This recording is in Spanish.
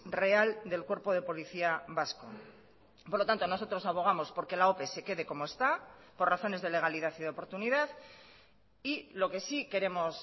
real del cuerpo de policía vasco por lo tanto nosotros abogamos porque la ope se quede como está por razones de legalidad y de oportunidad y lo que sí queremos